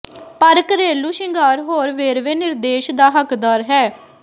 ਪਰ ਘਰੇਲੂ ਸ਼ਿੰਗਾਰ ਹੋਰ ਵੇਰਵੇ ਨਿਰਦੇਸ਼ ਦਾ ਹੱਕਦਾਰ ਹੈ